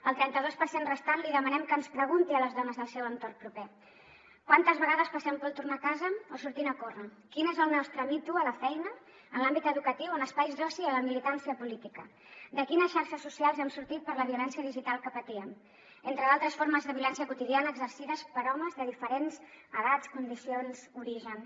al trenta dos per cent restant li demanem que ens pregunti a les dones del seu entorn proper quantes vegades passem por al tornar a casa o sortint a córrer quin és el nostre me too a la feina en l’àmbit educatiu en espais d’oci o de militància política de quines xarxes socials hem sortit per la violència digital que patíem entre d’altres formes de violència quotidiana exercides per homes de diferents edats condicions orígens